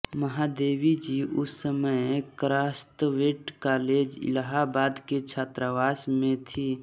महादेवी जी उस समय Crosthwaite college Allahabad के छात्रावास में थीं